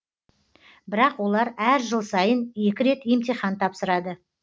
бірақ олар әр жыл сайын екі рет емтихан тапсырады